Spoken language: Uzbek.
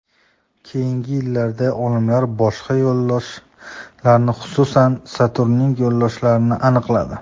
Keyingi yillarda olimlar boshqa yo‘ldoshlarni, xususan, Saturnning yo‘ldoshlarini aniqladi.